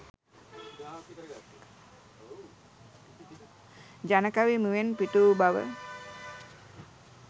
ජනකවි මුවෙන් පිටවූ බව